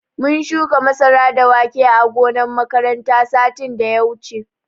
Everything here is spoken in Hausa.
Mun shuka masara da wake ã gonan makaranta satin da ya wuche.